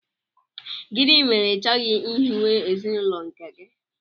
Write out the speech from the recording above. Gịnị mere i chọghị ihiwe ezinụlọ nke gị?